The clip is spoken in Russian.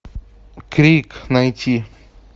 крик найти